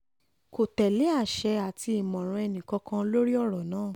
kò tẹ̀lé àṣẹ àti àmọ̀ràn ẹnìkankan lórí ọ̀rọ̀ náà